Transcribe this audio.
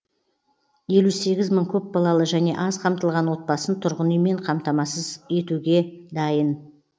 елу сегіз мың көпбалалы және аз қамтылған отбасын тұрғын үймен қамтамасыз етуге